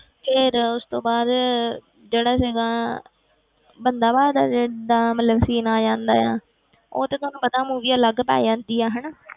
ਫਿਰ ਉਸ ਤੋਂ ਬਾਅਦ ਜਿਹੜਾ ਸੀਗਾ ਬੰਦਾ ਬਹਾਦਰ ਦਾ ਮਤਲਬ scene ਆ ਜਾਂਦਾ ਆ ਉਹ ਤਾਂ ਤੁਹਾਨੂੰ ਪਤਾ movie ਅਲੱਗ ਆ ਜਾਂਦੀ ਆ ਹਨਾ,